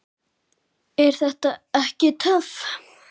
Er þetta ekki töff?